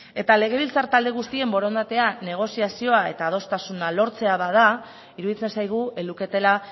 eta legebiltzar talde guztien borondatea negoziazioa eta adostasuna lortzea bada iruditzen zaigu ez luketela